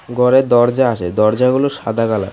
ঘরে দরজা আসে দরজাগুলো সাদা কালার .